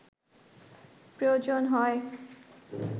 প্রয়োজন হয়